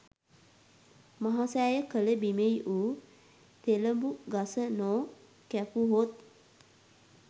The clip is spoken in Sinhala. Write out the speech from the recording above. මහසෑය කළ බිමෙහි වූ තෙළඹුගස නො කැපුවහොත්